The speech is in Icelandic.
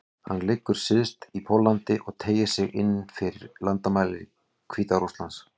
Hann liggur syðst í Póllandi og teygir sig inn fyrir landamæri Hvíta-Rússlands.